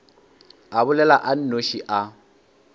a bolela a nnoši a